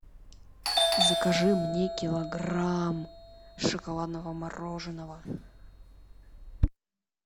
закажи мне килограмм шоколадного мороженого